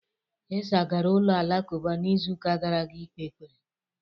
Isah gara ụlọ alakụba n'izuụka gara aga ikpe ekpere.